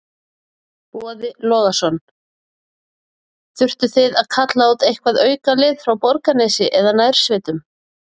Boði Logason: Þurftuð þið að kalla út eitthvað aukalið frá Borgarnesi eða nærsveitunum?